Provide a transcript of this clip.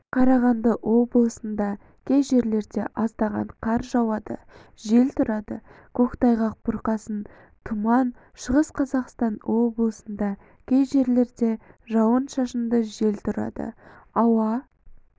қарағанды облысында кей жерлерде аздаған қар жауады жел тұрады көктайғақ бұрқасын тұман шығыс қазақстан облысында кей жерлерде жауын-шашынды жел тұрады ауа